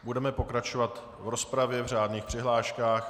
Budeme pokračovat v rozpravě v řádných přihláškách.